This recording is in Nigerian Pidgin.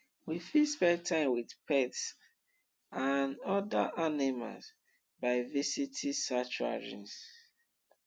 we fit spend time with pets and oda animals by visiting sanctuary